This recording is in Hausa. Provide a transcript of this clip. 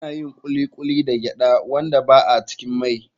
Ana yin Kuli kuli daga gyaɗa wanda ba a cikin mai.